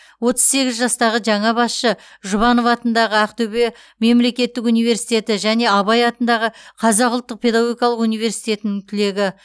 отыз сегіз жастағы жаңа басшы жұбанов атындағы ақтөбе мемлекеттік университеті және абай атындағы қазақ ұлттық педагогикалық университетінің түлегі